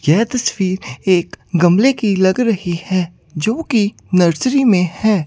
यह तस्वीर एक गमले की लग रही है जो की नर्सरी में है।